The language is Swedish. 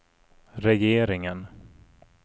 regeringen